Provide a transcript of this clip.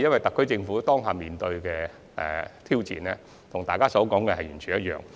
特區政府目前面對的挑戰，與大家所說的相同。